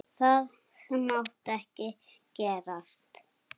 Það mátti ekki gerast.